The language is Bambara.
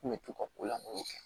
N kun bɛ to ka ko lamɔ kɛ